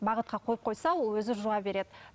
бағытқа қойып қойса ол өзі жуа береді